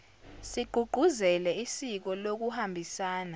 sigqugquzele isiko lokuhambisana